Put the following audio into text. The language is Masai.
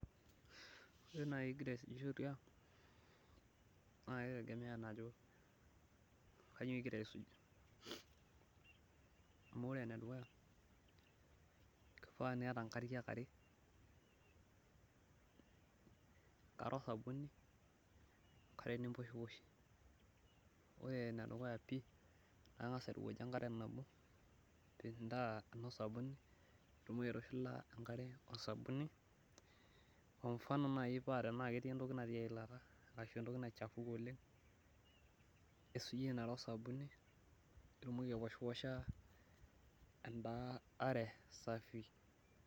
Ore naaji igira aisujisho tiang', naa kitegemea ajo, kainyioo igira aisuj. amu ore ene dukuya kifaa niata nkariak are, enkere osabuni, enkare nimposhiposhie, ore ene dukuya pii kang'as airowuajie enkare nabo, Eno sabuni mitoki aitushula enkare osabuni. Kwa mfano naaji paa tenaa ketii entoki natii eilata ashu entoki naichafuke oleng, nisujie ina are osabuni. pee itumoki aipishiposha eda are safi.